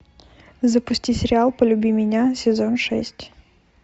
запусти сериал полюби меня сезон шесть